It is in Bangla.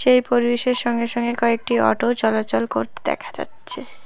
এই পরিবেশের সঙ্গে সঙ্গে কয়েকটি অটোও চলাচল করতে দেখা যাচ্ছে।